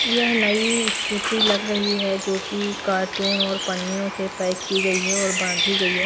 यह नई स्कूटी लग रही है जो कि कार्टून और पन्नियों से पैक की गई है और बांधी गई है।